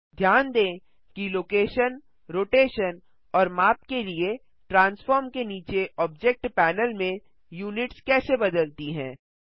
ध्यान दें कि लोकेशन रोटेशन और माप के लिए ट्रांसफार्म के नीचे ऑब्जेक्ट पैनल में यूनिट्स कैसे बदलती है